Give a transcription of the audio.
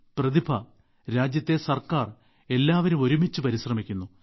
പ്രതിഭ രാജ്യത്തെ ഗവണ്മെന്റ് എല്ലാവരും ഒരുമിച്ച് പരിശ്രമിക്കുന്നു